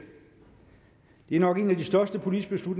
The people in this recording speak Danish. det er nok en af de største politiske